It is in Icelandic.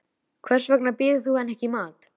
Hvers vegna býður þú henni ekki í mat.